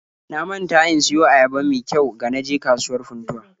Na manta in siyo ayaba me kyau ga na je kasuwar Funtuwa